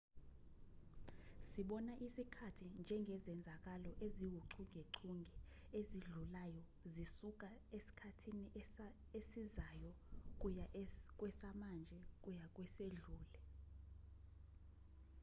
sibona isikhathi njengezenzakalo eziwuchungechunge ezidlulayo zisuka esikhathini esizayo kuya kwesamanje kuya kwesedlule